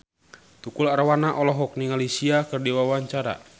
Tukul Arwana olohok ningali Sia keur diwawancara